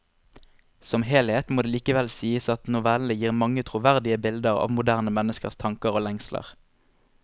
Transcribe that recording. Som helhet må det likevel sies at novellene gir mange troverdige bilder av moderne menneskers tanker og lengsler.